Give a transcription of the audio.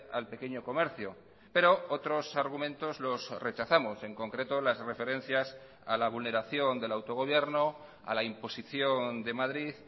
al pequeño comercio pero otros argumentos los rechazamos en concreto las referencias a la vulneración del autogobierno a la imposición de madrid